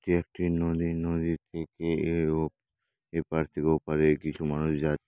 এটি একটি নদী নদীর থেকে এর-ও এপার থেকে ওপারে কিছু মানুষ যা--